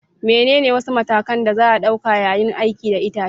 Menene wasu matakan da za a ɗauka yayin aiki da itace?